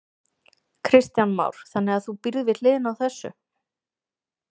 Kristján Már: Þannig að þú býrð við hliðina á þessu?